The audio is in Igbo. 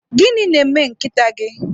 Gịnị na-eme nkịta gị?